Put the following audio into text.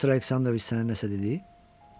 Pyotr Aleksandroviç sənə nəsə dedi?